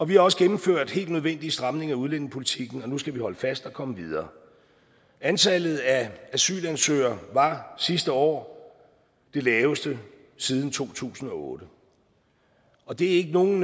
vi har også gennemført helt nødvendige stramninger af udlændingepolitikken og nu skal vi holde fast og komme videre antallet af asylansøgere var sidste år det laveste siden to tusind og otte og det er ikke nogen